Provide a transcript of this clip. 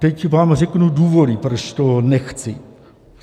Teď vám řeknu důvody, proč to nechci.